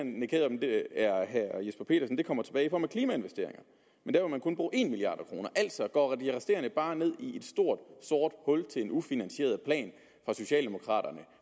herre jesper petersen kommer tilbage i form af klimainvesteringer men der vil man kun bruge en milliard kr altså går de resterende penge bare ned i et stort sort hul til en ufinansieret plan fra socialdemokraterne